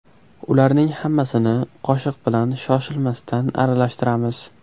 Ularning hammasini qoshiq bilan shoshilmasdan aralashtiramiz.